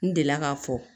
N delila k'a fɔ